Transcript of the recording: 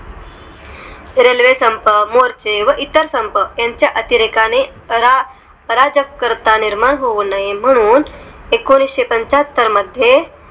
Railway संपर्क, मोर्चे वर संपर्क, इतरसंपर्क त्च्या अतिरेकाने करा, राज्यकर्ता निर्माण होऊ नये. म्हणून एकोणीस पंचाहत्तर मध्ये